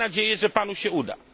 Mam nadzieję, że panu się